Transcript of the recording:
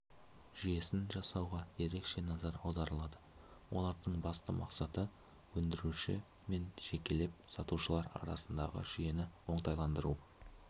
жүйесін жасауға ерекше назар аударылады олардың басты мақсаты өндіруші мен жекелеп сатушылар арасындағы жүйені оңтайландыру